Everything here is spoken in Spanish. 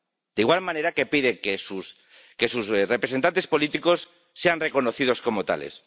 De igual manera que pide que sus representantes políticos sean reconocidos como tales.